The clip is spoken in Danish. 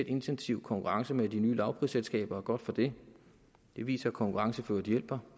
intensiv konkurrence med de nye lavprisselskaber og godt for det det viser at konkurrence hjælper